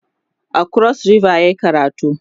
a kros ribas yayi karatu